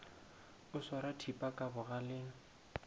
o swara thipa ka bogaleng